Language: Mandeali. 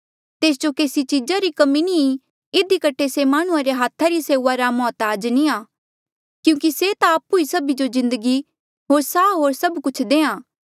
तेस जो केसी चीजा री कमी नी ई इधी कठे से माह्णुं रे हाथा री सेऊआ रा मौहताज नी आ क्यूंकि से ता आपु ई सभी जो जिन्दगी होर साह होर सब कुछ देहां